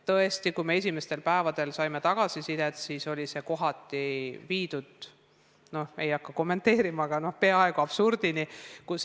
Tõesti, esimestel päevadel me saime tagasisidet, et kohati oli e-õpe viidud peaaegu absurdini.